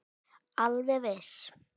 Alveg viss.